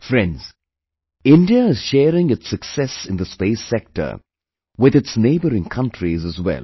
Friends, India is sharing its success in the space sector with its neighbouring countries as well